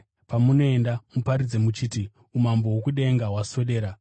Pamunoenda, muparidze muchiti, ‘Umambo hwokudenga hwaswedera.’